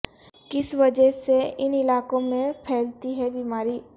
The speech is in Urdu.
کس وجہ سے ان علاقوں میں پھیلتی ہے بیماری